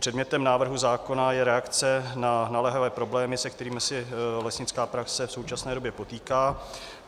Předmětem návrhu zákona je reakce na naléhavé problémy, se kterými se lesnická praxe v současné době potýká.